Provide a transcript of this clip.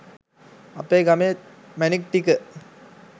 අපේ ගමේ මැණික් ටික